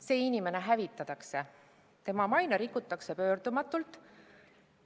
See inimene hävitatakse, tema maine rikutakse pöördumatult.